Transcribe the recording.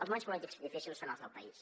els moments polítics difícils són els del país